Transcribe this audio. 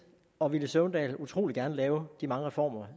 og herre villy søvndal utrolig gerne lave de mange reformer